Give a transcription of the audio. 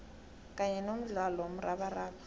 kanye nomdlalo womrabaraba